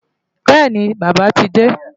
Bẹ́ẹ̀ni, Bàbá ti dé.